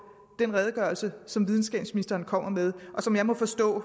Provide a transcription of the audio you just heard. den redegørelse som videnskabsministeren kommer med og som jeg må forstå